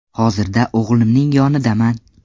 Hozirda o‘g‘limning yonidaman.